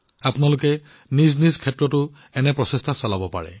আপোনালোকেও নিজ নিজ ক্ষেত্ৰত এনে ধৰণৰ প্ৰচেষ্টা কৰিব পাৰে